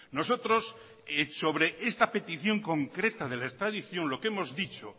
nosotros sobre esta petición concreta de la extradición lo que hemos dicho